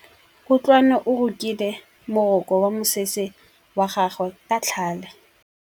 Kutlwanô o rokile morokô wa mosese wa gagwe ka tlhale.